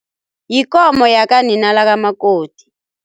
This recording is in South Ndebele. Yikomo yakanina lakamakoti.